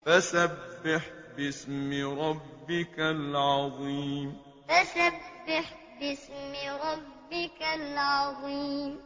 فَسَبِّحْ بِاسْمِ رَبِّكَ الْعَظِيمِ فَسَبِّحْ بِاسْمِ رَبِّكَ الْعَظِيمِ